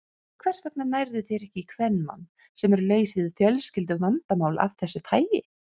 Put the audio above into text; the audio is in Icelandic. Hvers vegna nærðu þér ekki í kvenmann, sem er laus við fjölskylduvandamál af þessu tagi?